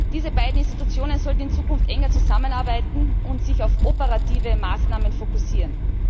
Diese beiden Institutionen sollten in Zukunft enger zusammenarbeiten und sich auf operative Maßnahmen fokussieren.